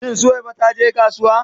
Shin Suwaiba ta je kasuwa?